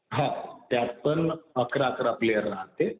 हा. त्यात पण अकरा-अकरा प्लेयर राहते.